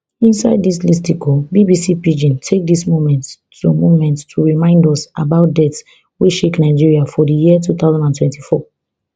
inside dis listicle bbc pidgin take dis moment to moment to remind us about deaths wey shake nigeria for di year two thousand and twenty-four